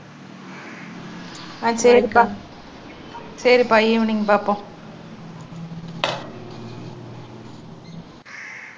அஹ் சரிக்கா, சரிப்பா ஈவினிங் பார்ப்போம்